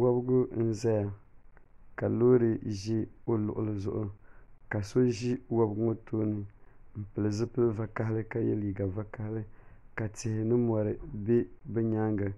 wabigu n-zaya ka loori za o luɣili zuɣu ka so ʒi wabigu ŋɔ tooni m-pili zipil' vakahili ka ye liiga vakahili ka tihi ni mɔri be bɛ nyaaŋga